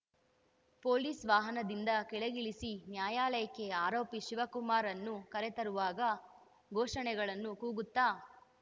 police ವಾಹನದಿಂದ ಕೆಳಗಿಳಿಸಿ ನ್ಯಾಯಾಲಯಕ್ಕೆ ಆರೋಪಿ ಶಿವಕುಮಾರ್‌ನ್ನು ಕರೆತರುವಾಗ ಘೋಷಣೆಗಳನ್ನು ಕೂಗುತ್ತಾ